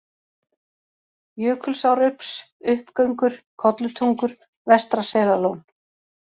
Jökulsárups, Uppgöngur, Kollutungur, Vestra-Selalón